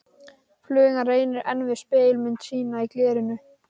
Flugan reynir enn við spegilmynd sína í glerinu.